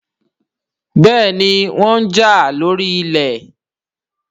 béèni wón já lórí ilé